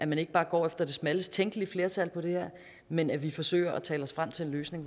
man ikke bare går efter det smallest tænkelige flertal på det her men at vi forsøger at tale os frem til en løsning